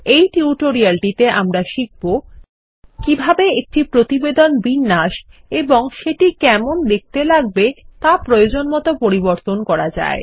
এই টিউটোরিয়ালটিতে আমরা শিখব কিভাবে একটি প্রতিবেদনের বিন্যাস এবং সেটি কেমন দেখতে লাগবে তাপ্রয়োজনমত পরিবর্তন করা যায়